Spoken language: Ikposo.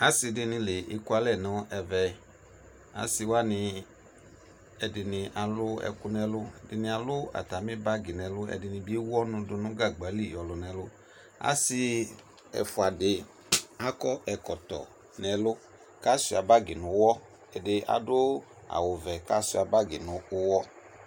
Ase de ne la ekualɛ no ɛvɛ Ase wane ɛdene alu ɛku no ɛluƐdene alu atane bagi no ɛlu, ɛdene be ewu ɔnu do no gagba li yɔlu no ɛlu Ase ɛfua de akɔ ɛkɔtɔ no ɛlu ko asua bagi no uwɔ Ade ado awuvɛ ko asua bagi no uwɔ